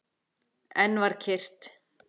Enn var kyrrt.